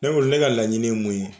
Ne Ko ne ka laɲini ye mun ye